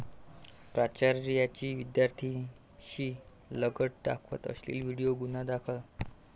प्राचार्याची विद्यार्थ्याशी लगट, दाखवला अश्लील व्हिडीओ, गुन्हा दाखल